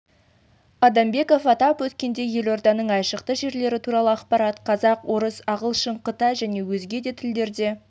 адамбеков атап өткендей елорданың айшықты жерлері туралы ақпарат қазақ орыс ағылшын қытай және өзге де тілдерде